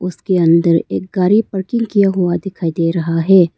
उसके अंदर एक गाड़ी पार्किंग किया हुआ दिखाई दे रहा है।